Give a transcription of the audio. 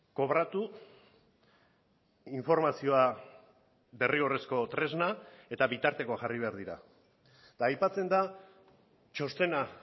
kobratu informazioa derrigorrezko tresna eta bitartekoak jarri behar dira eta aipatzen da txostena